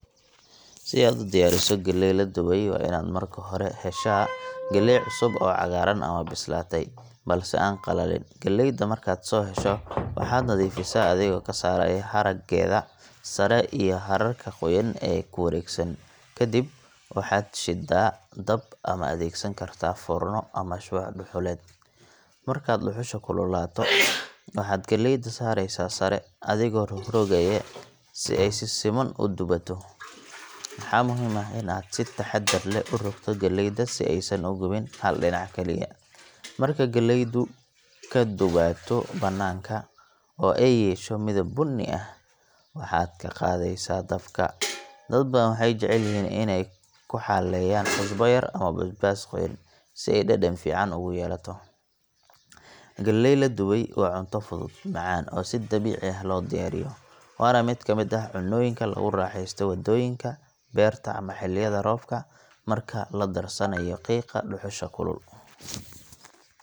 Si aad u diyaariso galley la dubay, waa inaad marka hore heshaa galley cusub, oo cagaaran ama bislaatay, balse aan qalalin. Galleeyda markaad soo hesho, waxaad nadiifisaa adigoo ka saarayaa haraggeeda sare iyo hararka qoyan ee ku wareegsan. Kadib, waxaad shiddaa dab ama adeegsan kartaa foorno ama shumac dhuxuleed. Marka dhuxusha kululaato, waxaad galleyda saaraysaa sare, adigoo rogrogaya si ay si siman u dubaato. Waxaa muhiim ah in aad si taxaddar leh u rogto galleyda si aysan u gubin hal dhinac kaliya. Markay galleydu ka dubaato banaanka, oo ay yeesho midab bunni ah, waxaad ka qaadaysaa dabka. Dad badan waxay jecel yihiin inay ku xaleeyaan cusbo yar ama basbaas qoyan, si ay dhadhan fiican ugu yeelato. Galley la dubay waa cunto fudud, macaan, oo si dabiici ah loo diyaariyo waana mid ka mid ah cunnooyinka lagu raaxeysto waddooyinka, beerta, ama xilliyada roobka marka la darsanayo qiiqa dhuxusha kulul.